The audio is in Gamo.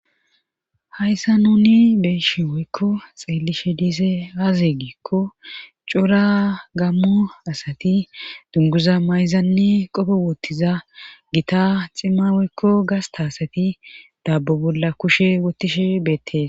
hayssa nuni beeyishe woykko xeellishe diizay aaze giikko cora gammo asati dunguza mayzanne qope woottiza gita cimma woykko gasta asati daabo bolla kushe wottishe beettees